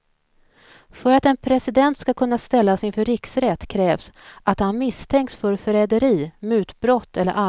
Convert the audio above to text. För att en president ska kunna ställas inför riksrätt krävs att han misstänks för förräderi, mutbrott eller allvarliga brott.